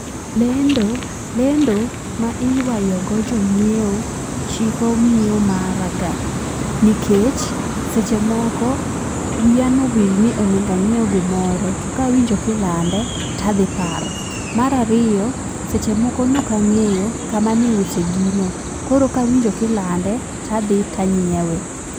Lendo lendo ma iywayo go jonyiewo chiko nyiewo mara ga nikech seche moko wiya nowil ni onego anyiew gimoro to kawinjo kilande tadhi paro. Mar ariyo, seche moko nokang'eyo kama niuse gino koro kawinjo kilande tadhi tanyiewe.